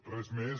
res més